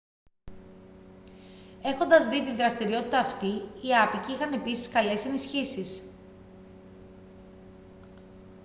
έχοντας δει τη δραστηριότητα αυτή οι άποικοι είχαν επίσης καλέσει ενισχύσεις